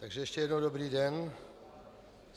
Takže ještě jednou dobrý den.